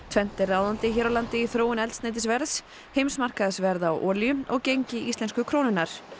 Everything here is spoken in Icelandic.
tvennt er ráðandi hér á landi í þróun eldsneytisverðs heimsmarkaðsverð á olíu og gengi íslensku krónunnar